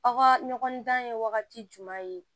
Aw ka ɲɔgɔn dan ye wagati jumɛn ye